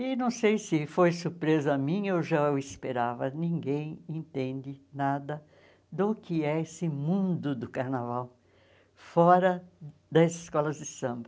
E não sei se foi surpresa minha ou já eu esperava, ninguém entende nada do que é esse mundo do carnaval fora das escolas de samba.